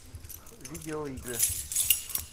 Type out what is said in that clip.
видеоигры